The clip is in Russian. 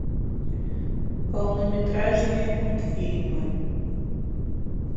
полнометражные мультфильмы